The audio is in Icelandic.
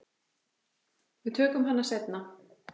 Við tökum hana seinna.